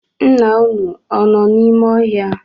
Nna unu, ọ nọ n’ime ọhịa?